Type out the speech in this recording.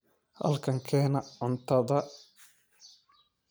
Halkan keena cuntada